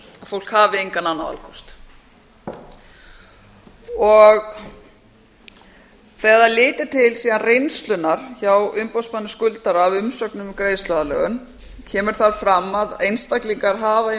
fólk hafi engan annan valkost þegar það er litið til reynslunnar hjá umboðsmanni skuldara á umsögn um greiðsluaðlögun kemur þar fram að einstaklingar hafa í